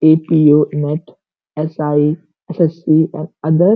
APO. NET SI. SSC. और other --